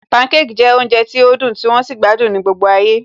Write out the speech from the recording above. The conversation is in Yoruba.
Pancake jẹ́ oúnjẹ tí ó dùn tí wón sì gbádùn ní gbogbo ayé